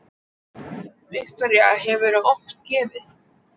Viktoría: Hefurðu oft gefið?